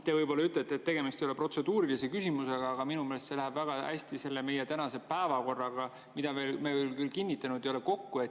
Te võib‑olla ütlete, et tegemist ei ole protseduurilise küsimusega, aga minu meelest see läheb väga hästi kokku meie tänase päevakorraga, mida me küll kinnitanud ei ole.